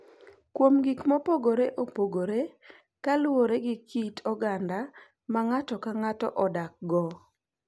kuom gik mopogore opogore kaluwore gi kit oganda ma ng’ato ka ng’ato odakgo.